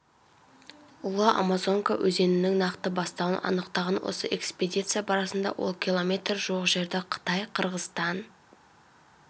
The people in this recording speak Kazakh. ұлы амазонка өзенінің нақты бастауын анықтаған осы экспедиция барысында ол километр жуық жерді қытай қырғызстан